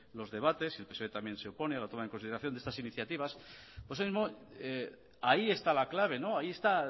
los debates y psoe también se opone a la consideración de estas iniciativas ahí está la clave ahí está